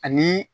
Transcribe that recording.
Ani